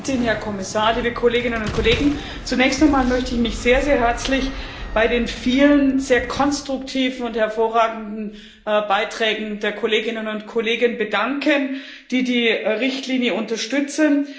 Frau Präsidentin, Herr Kommissar, liebe Kolleginnen und Kollegen! Zunächst einmal möchte ich mich sehr, sehr herzlich für die vielen sehr konstruktiven und hervorragenden Beiträge der Kolleginnen und Kollegen bedanken, die die Richtlinie unterstützen.